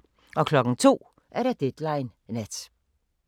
02:00: Deadline Nat